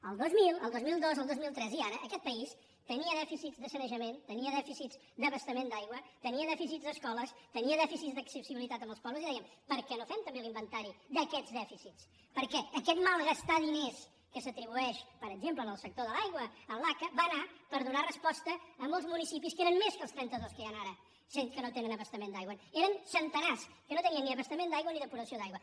el dos mil el dos mil dos el dos mil tres i ara aquest país tenia dèficits de sanejament tenia dèficits d’abastament d’aigua tenia dèficits d’escoles tenia dèficits d’accessibilitat als pobles i dèiem per què no fem també l’inventari d’aquests dèficits perquè aquest malgastar diners que s’atribueix per exemple al sector de l’aigua a l’aca va anar per donar resposta a molts municipis que eren més que els trenta dos que hi han ara que no tenen abastament d’aigua eren centenars que no tenien ni abastament d’aigua i depuració d’aigua